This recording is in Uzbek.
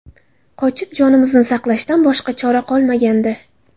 Qochib, jonimizni saqlashdan boshqa chora qolmagandi.